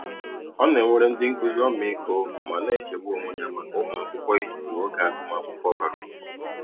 Ọ na-enwere ndị nkụzi ọmịiko ma na-echegbu onwe ya maka ụmụakwụkwọ ịtụfụ oge agụmakwụkwọ bara uru.